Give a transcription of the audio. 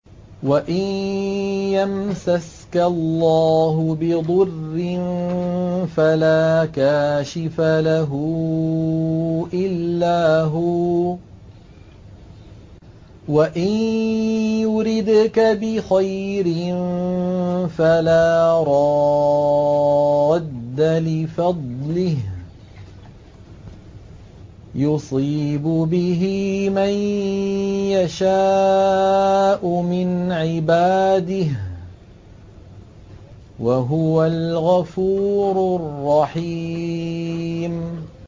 وَإِن يَمْسَسْكَ اللَّهُ بِضُرٍّ فَلَا كَاشِفَ لَهُ إِلَّا هُوَ ۖ وَإِن يُرِدْكَ بِخَيْرٍ فَلَا رَادَّ لِفَضْلِهِ ۚ يُصِيبُ بِهِ مَن يَشَاءُ مِنْ عِبَادِهِ ۚ وَهُوَ الْغَفُورُ الرَّحِيمُ